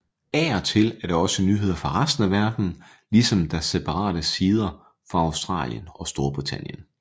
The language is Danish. Af og til er der også nyheder fra resten af verdenen ligesom der separate sider for Australien og Storbritannien